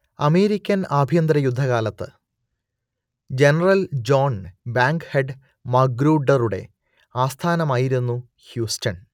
American ആഭ്യന്തരയുദ്ധകാലത്ത് general John Bankhead മാഗ്രൂഡറുടെ ആസ്ഥാനമായിരുന്നു ഹ്യൂസ്റ്റൺ